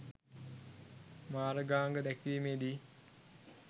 මාර්ගාංග දැක්වීමේදී